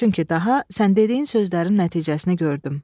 Çünki daha sən dediyin sözlərin nəticəsini gördüm."